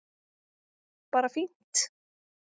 Bara fínt